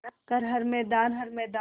कर हर मैदान हर मैदान